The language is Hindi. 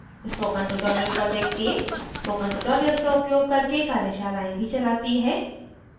spoken tutorial project team spoken tutorial का उपयोग करके कार्यशालाएँ भी चलाती है